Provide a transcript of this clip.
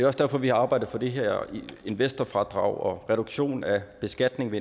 også derfor vi har arbejdet for det her investorfradrag og reduktion af beskatningen